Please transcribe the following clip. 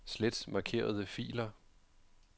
Slet markerede filer.